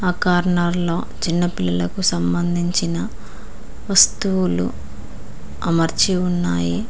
Corner లో చిన్నపిల్లలకు సంబంధించిన వస్తువులు అమర్చి ఉన్నాయి.